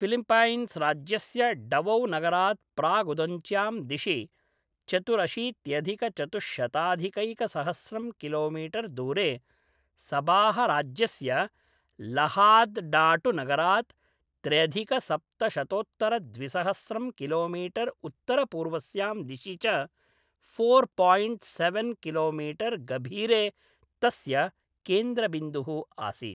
फ़िलिप्पैन्स्राज्यस्य डवौनगरात् प्रागुदञ्च्यां दिशि चतुरशीत्यधिकचतुश्शताधिकैकसहस्रं किलोमीटर् दूरे, सबाहराज्यस्य लहाद्डाटुनगरात् त्र्यधिकसप्तशतोत्तरद्विसहस्रं किलोमीटर् उत्तरपूर्वस्यां दिशि च फोर् पायिण्ट् सेवेन् किलोमीटर् गभीरे तस्य केन्द्रबिन्दुः आसीत्।